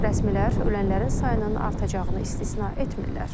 Rəsmilər ölənlərin sayının artacağını istisna etmirlər.